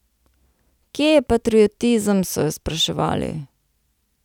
Kje je patriotizem, so jo spraševali.